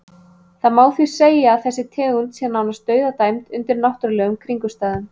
Það má því segja að þessi tegund sé nánast dauðadæmd undir náttúrulegum kringumstæðum.